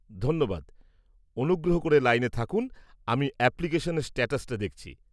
ধন্যবাদ, অনুগ্রহ করে লাইনে থাকুন, আমি অ্যাপ্লিকেশনের স্ট্যাটাসটা দেখছি।